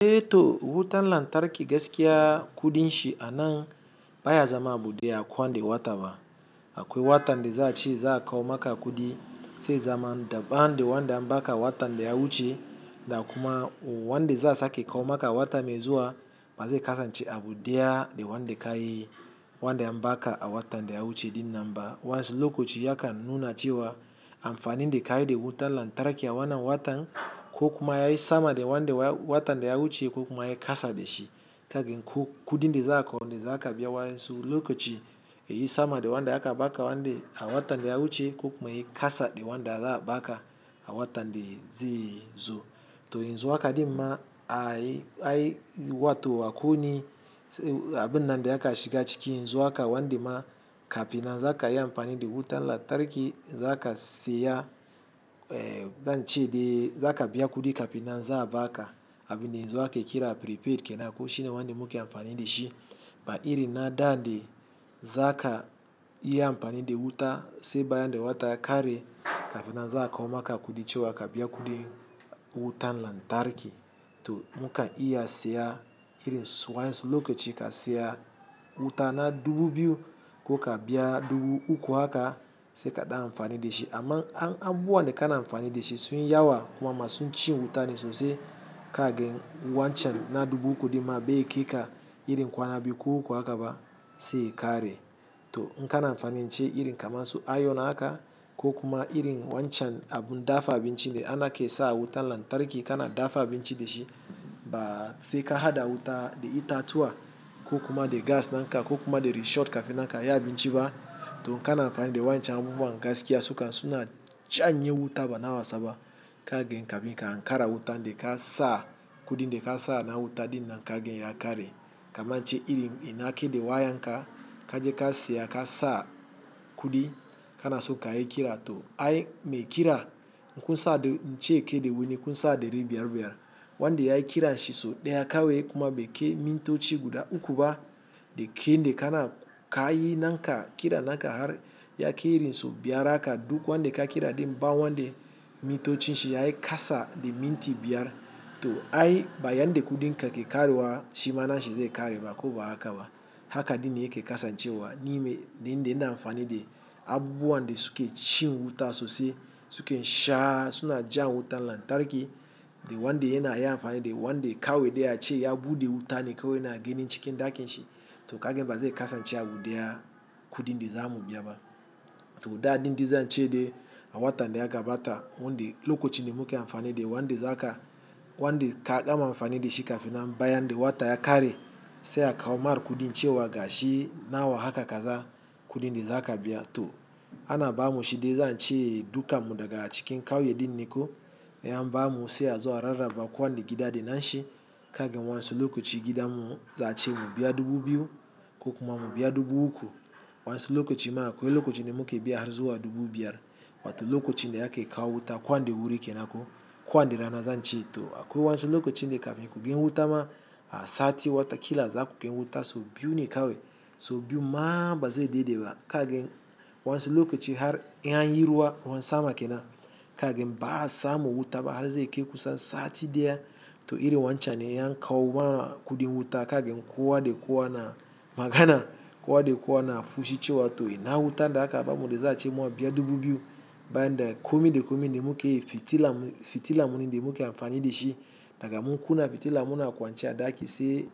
To wutan lantarki gaskiya kudin shi anan ba ya zama abun de a ko wane wataba. Akwai watan da za'a ce za'a kawo maka kudi, sai ya zama daban de wanda an ba ka a watan da ya wuce da kuma wanda za a sake kawo maka wata mai zuwa, ba zai kasance abu deya de wanda ka yi wanda an ba ka a watan da ya wuce din nan ba. Wa'an su lokaci ya kan nuna cewa amfani de ka yi da wutan lantarki a wannan watan, ko kuma ya yi sama de wanda watan da ya wuce ko kuma ya yi kasa da shi. Ka gan ko kudin da za'a ko de za ka biya wayan su lokaci, ya yi sama de wanda aka baka a watan da ya wuce ko kuma ya yi kasa de wanda za a baka a watan da zai zo. To yanzu haka din ma ai wato akwai wani abun nan de ya kan shiga ciki yanzu haka wanda ma kafin nan za ka yi amfani da wutan lantarki, za ka siya, eh, zan ce de za ka biya kudi kafina za a ba ka abin da yanzu ake kira prepaid kenan ko shi ne wanda muke amfani da shi. Ba iri na da de za ka yi amfani da wuta sai bayan de wata ya kare, kafin nan za'a kawo maka kudi cewa ka biya kudi wutan lantarki to mu kan iya siya irin su wayan su lokaci ka siya wuta na dubu biyu ko ka biya dubu uku haka sai ka dan amfani da shi. Aman in abubuwan da ka na amfani da shi, sun yawa kuma masu cin wuta na sosai ka gan wancan na dubu uku dimma bai kai ka irin kwana biyu ko uku haka ba sai ya kare. To in ka na amfani ce irin kamar su iron haka ko kuma irin wancan abun dafa abinci de a ke sa wutan lantarki ka na dafa abinci da shi, ba sai ka hada wuta de itatuwa ko kuma de gas nan ka ko kuma de resho kafin nan ka yi abinci ba. To in ka na amfani da wancan abubuwan gaskiya su kan suna janye wuta ba na wasa ba ka gan kafun ka ankara wutan da ka sa kudin de ka sa na wuta din nan ka gan ya kare. Kaman in ce irin ina ke de wayan ka, kaje ka siya ka sa kudi ka na so ka yi kira to ai mai kira, kun sa ince ke de wuni kun sa dari biyar-biyar. Wanda ya yi kira shi so daya kawai kuma bai kai mintoci guda uku ba da kai de ka na ka yi na ka kira na ka har ya kai irin sau biyar haka duk wanda ka kira din ba wanda mintoci shi ya yi kasa de minti biyar, to ai ba yanda kudin ka ke karewa shi ma nan shi zai kare ba ko ba haka ba. Haka din ne yake kasancewa ni in da ina amfani de abubuwa de su ke cin wuta sosai su ke sha suna jan wutan lantarki de wanda yana yi amfani de wanda kawai de ace ya buɗe wuta ne kawai na ganin cikin ɗakin shi. To ka gan ba zai kasance abu deya kudi in da za mu biya ba. To dadin de zan ce de a watan da ya gabata wande lokacin de muke amfani de wanda za ka wanda ka gama amfani da shi kafin nan bayan de wata ya kare sai a kawo mar kudin cewa gashi nawa haka kaza kudin da za ka biya. To ana ba mu shi de za'a ce dukan mu daga cikin kauye din ne ko in an ba mu sai a zo a rarraba kowanne gida de na shi ka gan wasu lokaci gidan mu za'a ce mu biya dubu biyu ko kuma mu biya dubu uku. Wa'an su lokaci ma akwai lokacin de muke biyar zuwa dubu biyar. Wato lokacin da ake kawo wuta ko wanne da wuri kenan ko? Kowane rana zan ce to akwai wa'ansu lokacin de kafin ku gani wuta ma sati wata kila za ku gan wuta so biyu ne kawai so biyu ma ba zai dade ba ka gan wa'ansu lokacin har in an yi ruwa, ruwan sama kenan ka gan ba'a samu wuta ba har zai kai kusan sati daya to irin wancan ne in an kawo ma kudin wuta ka gan kowa de kowa na magana kowa de kowa na fushi cewa to ina wutan da aka ba mu de za a ce mu biya dubu biyu, bayan de komi de komi de muke yi fitila fitilam mu ne de muke amfani da shi daga mun kunna fitila mu na kwance a ɗaki se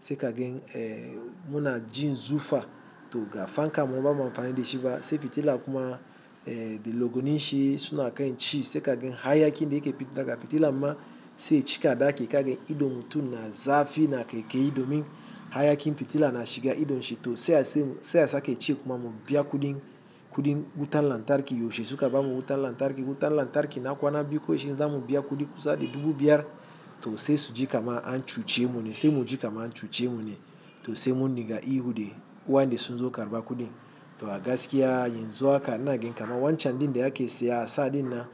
se ka gan eh, mu na jin zufa to ga fanka mu ba mu amfani da shi ba sai fitila kuma eh, de lagwanin shi suna kan ci se ka gan hayakin de yake pita daga fitilan ma se cika ɗaki ka gan idon mutum na zafi na kaikayi domin hayakin fitila na shiga idon shi to sai a sake ce kuma mu biya kudin kudin wutan lantarki yaushe suka ba mu wutan lantarki. Wutan lantarki na kwana biyu kawai shine za mu biya kudi kusa de dubu biyar to sai su ji kama an cuce mu ne sai mu ji kama an cuce mu ne to sai mu dinga ihu de ku wayan de sun zo karba kudi. To a gaskiya yanzu haka ina ganin kaman wancan din de a ke siya a sa din nan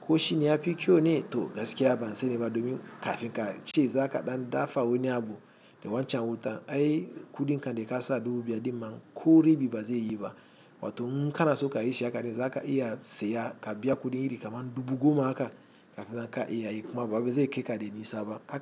ko shine ya fi kyau ne to gaskiya ban sanin ba domin kafin ka ce za ka dan dafa wani abu de wancan wuta ai kudin ka de ka sa dubu biyar dimma ko rabi ba zai yi ba. Wato in ka na so ka yi shi haka din za ka iya siya ka biya kudi iri kamar dubu goma haka kafin nan ka iya yi kuma ba wai zai kai ka da nisa ba.